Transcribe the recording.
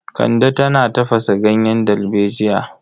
Kande tana tafasa ganyen dalbejiya.